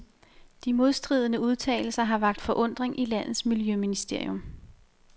De modstridende udtalelser har vakt forundring i landets miljøministerium.